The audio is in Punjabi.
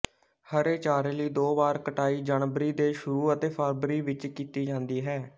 ਹਰੇ ਚਾਰੇ ਲਈ ਦੋ ਵਾਰ ਕਟਾਈ ਜਨਵਰੀ ਦੇ ਸ਼ੁਰੂ ਅਤੇ ਫਰਵਰੀ ਵਿੱਚ ਕੀਤੀ ਜਾਂਦੀ ਹੈ